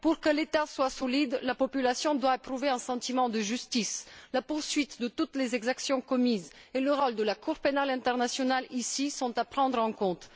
Pour que l'État soit solide, la population doit éprouver un sentiment de justice. La poursuite de toutes les exactions commises et le rôle de la Cour pénale internationale, sont ici à prendre en compte.